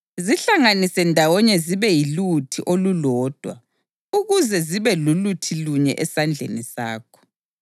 Zihlanganise ndawonye zibe yiluthi olulodwa ukuze zibe luthilunye esandleni sakho.